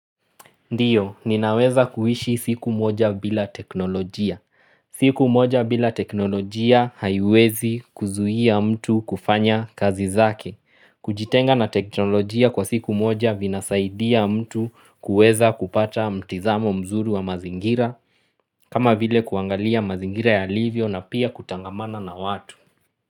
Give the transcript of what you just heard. Ndiyo, ninaweza kuhishi siku moja bila teknolojia. Siku moja bila teknolojia haiwezi kuzuhia mtu kufanya kazi zake. Kujitenga na teknolojia kwa siku moja vinasaidia mtu kuweza kupata mtizamo mzuri wa mazingira. Kama vile kuangalia mazingira yalivyo na pia kutangamana na watu.